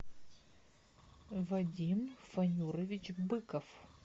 вадим фанюрович быков